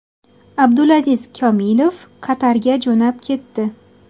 Abdulaziz Komilov Qatarga jo‘nab ketdi.